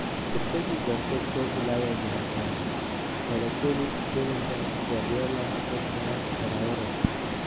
Tetesi za soka Ulaya Jumatano: Balotelli, Bellingham, Guardiola, Pogba, Traore